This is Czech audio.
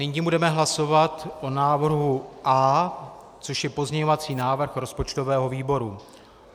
Nyní budeme hlasovat o návrhu A, což je pozměňovací návrh rozpočtového výboru.